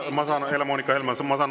Ma saan aru, Helle-Moonika Helme.